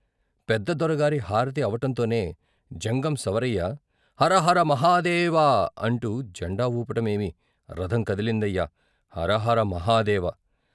పెద్ద దొరగారి హారతి అవటంతోనే జంగం సవరయ్య "హర హర మహాదేవ " అంటూ జండా వూపటమేమి రథం కదిలిందయ్యా హరహర మహదేవ